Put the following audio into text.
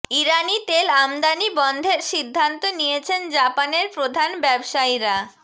ইরানি তেল আমদানি বন্ধের সিদ্ধান্ত নিয়েছেন জাপানের প্রধান ব্যবসায়ীরা